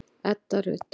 Edda Rut.